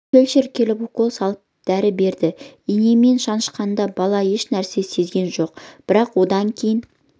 фельдшер келіп укол салып дәрі берді инемен шанышқанда бала еш нәрсені сезген жоқ бірақ одан кейін